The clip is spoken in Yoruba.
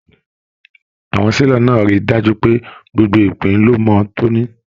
Àwọn selọ̀ náà rí dájú pé gbogbo ìpín ló mọ tóní.